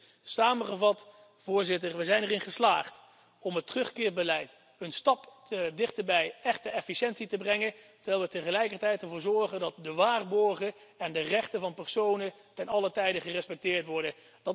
Dus samengevat, Voorzitter, we zijn erin geslaagd om het terugkeerbeleid een stap dichter bij echte efficiëntie te brengen, terwijl we tegelijkertijd ervoor zorgen dat de waarborgen en de rechten van personen te allen tijde gerespecteerd worden.